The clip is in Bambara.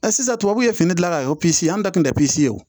sisan tubabuw ye fini dilan ka kɛ ye an da tun tɛ ye